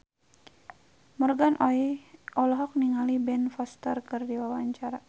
Morgan Oey olohok ningali Ben Foster keur diwawancara